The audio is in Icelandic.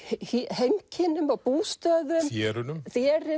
heimkynnum og bústöðum